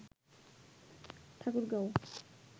Thakurgaon